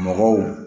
Mɔgɔw